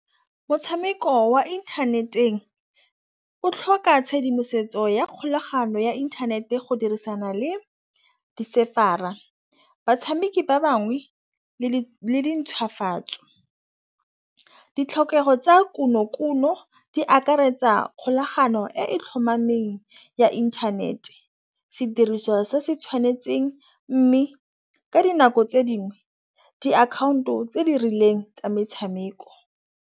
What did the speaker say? Motšhameko wa inthaneteng o tlhoka tšhedimosetso ya kgolagano ya inthanete go dirisana le di-server-a. Batšhameki ba bangwe le di ntšhwafatso ditlhokego tsa konokono di akaretsa kgolagano e tlhomameng ya internet-e sediriswa se se tšhwanetseng, mme ka dinako tse dingwe diakhaonto tse di rileng tsa metšhameko.